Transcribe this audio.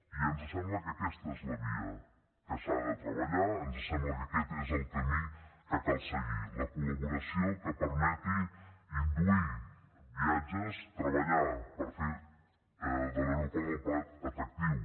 i ens sembla que aquesta és la via que s’ha de treballar ens sembla que aquest és el camí que cal seguir la col·laboració que permeti induir viatges treballar per fer l’aeroport del prat atractiu